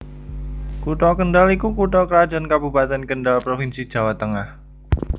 Kutha Kendhal iku Kutha krajan kabupeten Kendhal Provinsi Jawa Tengah